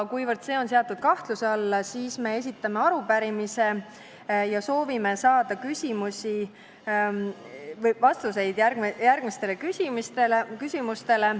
Kuna see on seatud kahtluse alla, siis me esitame arupärimise ja soovime saada vastuseid järgmistele küsimustele.